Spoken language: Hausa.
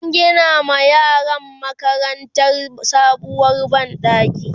an Gina ma yaran makarantar sabuwar banɗaki